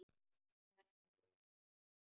Þetta er liðin tíð.